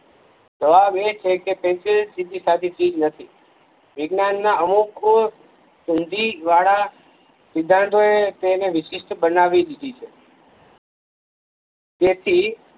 જવાબ એ છે કે પેન્સિલ સીધીસાદી ઠીક નથી વિજ્ઞાનના અમુક સુન્ધીવાળા સિધાંતો એ તેને વિશિષ્ટ બનાવી દીધી છે તેથી